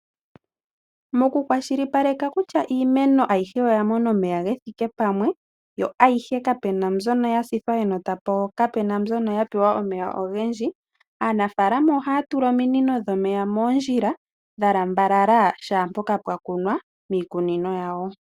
Mokukwashilipaleka kutya iimeno ayihe oya mona omeya ge thike pamwe yo ayihe kapu na mbyono ya sithwa enota po kapu na mbyono ya pewa omeya ogendji, aanafaalama ohaya tula ominino dhomeya moondjila dha lambalala shaa mpoka pwa kunwa miikunino yawo.